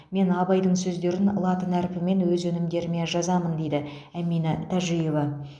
мен абайдың сөздерін латын әрпімен өз өнімдеріме жазамын дейді әмина тәжиева